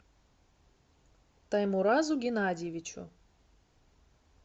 таймуразу геннадьевичу